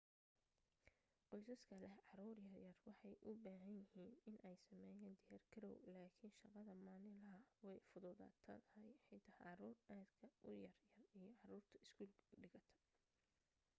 qoysaska leh caruur yar yar waxay u bahan yahiin iney sameeyaan diyaar garow lakin shaqada maalin laha way fududa tahay xitaa caruur aad ka u yar yar iyo caruurta iskuul dhigata